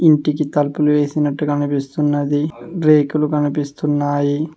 ఇంటికి తలుపులు వేసినట్టు కనిపిస్తున్నది రేకులు కనిపిస్తున్నాయి.